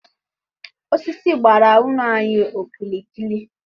Osisi gbara ụlọ anyi okirikiri.